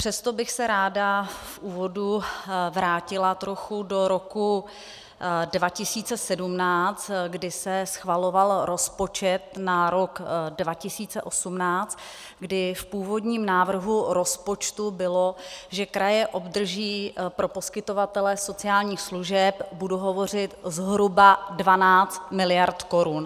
Přesto bych se ráda v úvodu vrátila trochu do roku 2017, kdy se schvaloval rozpočet na rok 2018, kdy v původním návrhu rozpočtu bylo, že kraje obdrží pro poskytovatele sociálních služeb, budu hovořit zhruba, 12 mld. korun.